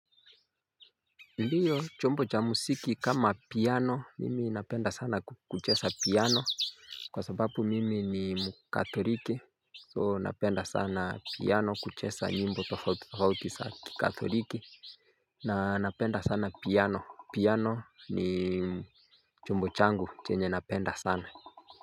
Ndiyo chombo cha muziki kama piano mimi napenda sana kucheza piano Kwa sababu mimi ni mkathoriki soo napenda sana piano kuchesa nyimbo tofauti kikatholiki na napenda sana piano piano ni chombo changu chenye napenda sana.